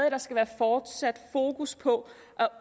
at der skal være fortsat fokus på